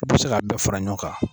E be se k'a bɛɛ fara ɲɔgɔn kan